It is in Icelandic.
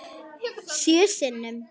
Sjö sinnum.